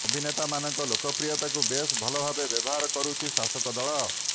ଅଭିନେତାମାନଙ୍କ ଲୋକପ୍ରିୟତାକୁ ବେଶ୍ ଭଲ ଭାବେ ବ୍ୟବହାର କରୁଛି ଶାସକ ଦଳ